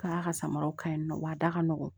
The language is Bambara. Ka ka samaraw ka ɲi nɔ wa da ka nɔgɔn